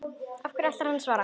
Hverju ætlar hann að svara?